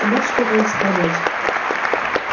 ты можешь вернуться к работе